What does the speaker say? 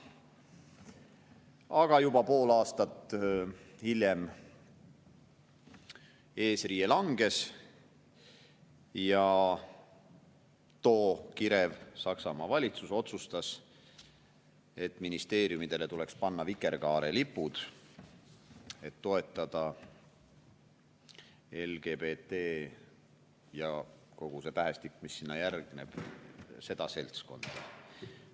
Aga juba pool aastat hiljem eesriie langes ja too kirev Saksamaa valitsus otsustas, et ministeeriumidele tuleks panna vikerkaarelipud, et toetada LGBT – ja kogu see tähestik, mis sinna järgneb – seltskonda.